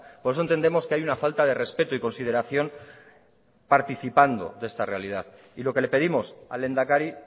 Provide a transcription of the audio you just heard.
por eso entendemos que hay una falta de respeto y consideración participando de esta realidad y lo que le pedimos al lehendakari